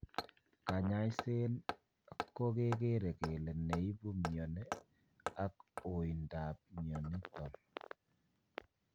Kanyaisen ko kegere kele ne ipu mioni ak oindap mioniton.